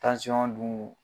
dun